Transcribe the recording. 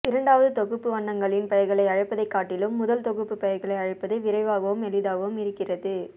இரண்டாவது தொகுப்பு வண்ணங்களின் பெயர்களை அழைப்பதைக் காட்டிலும் முதல் தொகுப்புப் பெயர்களை அழைப்பது விரைவாகவும் எளிதாகவும் இருக்கிறது